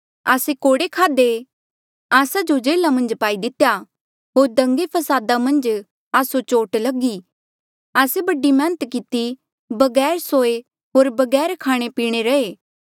आस्से कोड़े खाधे आस्सा जो जेल्हा मन्झ पाई दितेया होर दंगे फसादा मन्झ आस्सो चोट लगी आस्से बढ़ी मैहनत किती बगैर सोये होर बगैर खाणेपीणे रे रहे